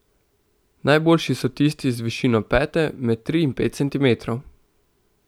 Najboljši so tisti z višino pete med tri in pet centimetrov.